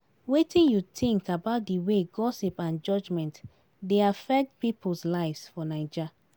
Wetin you think about di way gossip and judgment dey affect people's lives for Naija?